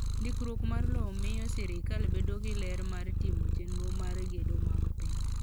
Ndikruok mar lowo miyo sirkal bedo gi ler mar timo chenro mar gedo mag piny.